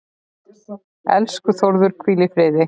Elsku Þórður, hvíl í friði.